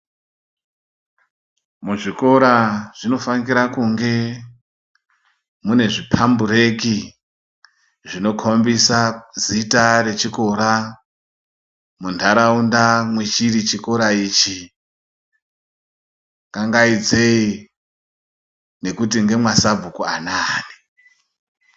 Muzvikora zvino fanira kunge mune zvipambureki zvinokombisa zita rechikora muntaraunda mwechiri chikora ichi kangaidzeyi ngekuti ndema sabhuku anani.